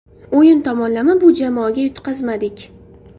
O‘yin tomonlama bu jamoaga yutqazmadik.